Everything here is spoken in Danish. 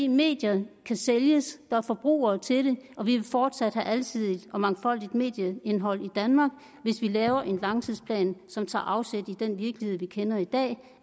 medier kan sælges der er forbrugere til dem og vi vil fortsat have et alsidigt og mangfoldigt medieindhold i danmark hvis vi laver en langtidsplan som tager afsæt i den virkelighed vi kender i dag